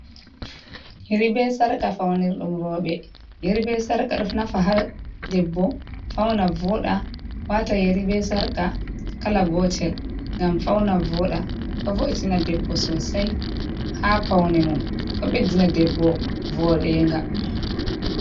Yeri be sarqa faunirɗum roɓe. Yeri be sarqa ɗo nafa haa debbo fauna voɗa wata yari be sarqa kala gotel ngam fauna voɗa. Ɗo vo'itina debbo sosai haa paune mum, ɗo ɓeddina debbo voɗenga.